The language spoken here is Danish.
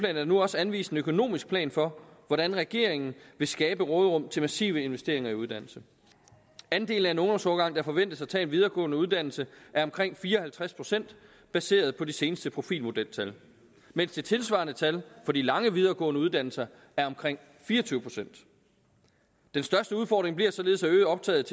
er der nu også anvist en økonomisk plan for hvordan regeringen vil skabe øget råderum til massive investeringer i uddannelse andelen af en ungdomsårgang der forventes at tage en videregående uddannelse er omkring fire og halvtreds procent baseret på de seneste profilmodeltal mens det tilsvarende tal for de lange videregående uddannelser er omkring fire og tyve procent den største udfordring bliver således at øge optaget